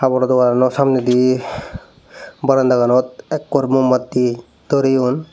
haboro doganano samnedi barandaganot ekkor mumbatti doreyon.